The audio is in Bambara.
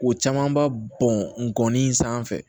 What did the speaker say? O caman ba bɔn nɔni sanfɛ